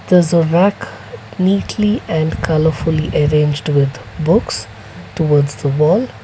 there is a rock neatly and colourfully arranged with books towards the wall.